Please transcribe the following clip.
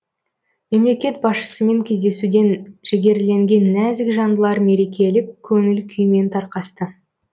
мемлекет басшысымен кездесуден жігерленген нәзік жандылар мерекелік көңіл күймен тарқасты